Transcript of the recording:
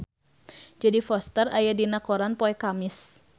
Jodie Foster aya dina koran poe Kemis